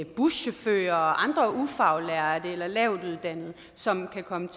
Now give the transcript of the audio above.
buschauffører og andre ufaglærte eller lavtuddannede som kan komme